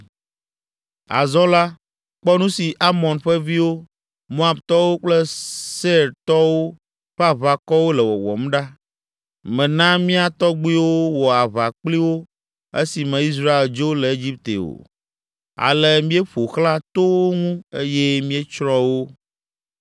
“Azɔ la, kpɔ nu si Amon ƒe viwo, Moabtɔwo kple Seirtɔwo ƒe aʋakɔwo le wɔwɔm ɖa. Mèna mía tɔgbuiwo wɔ aʋa kpli wo esime Israel dzo le Egipte o, ale míeƒo xlã to wo ŋu eye míetsrɔ̃ wo o.